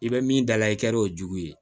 I bɛ min dala i kɛr'o juru ye